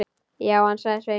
Já, ansaði Sveinn.